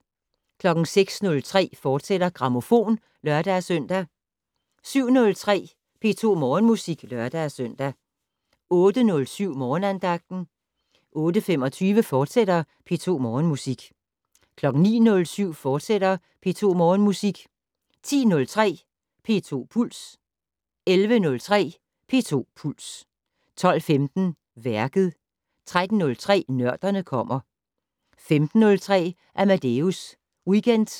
06:03: Grammofon, fortsat (lør-søn) 07:03: P2 Morgenmusik (lør-søn) 08:07: Morgenandagten 08:25: P2 Morgenmusik, fortsat 09:07: P2 Morgenmusik, fortsat 10:03: P2 Puls 11:03: P2 Puls 12:15: Værket 13:03: Nørderne kommer 15:03: Amadeus Weekend